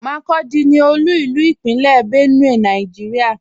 Makurdi ní olú ilú ní Ìpínlẹ̀ Benue, Nàìjíríà.